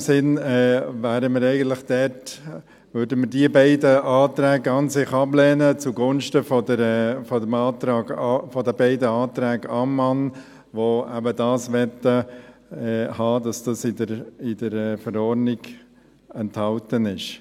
In dem Sinn würden wir an sich eigentlich diese beiden Anträge ablehnen, zugunsten der beiden Anträge Ammann, die eben möchten, dass das in der Verordnung enthalten ist.